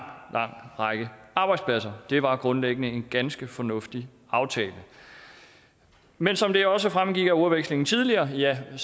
række arbejdspladser det var grundlæggende en ganske fornuftig aftale men som det også fremgik af ordvekslingen tidligere er